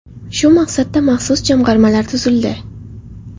Shu maqsadda maxsus jamg‘armalar tuzildi.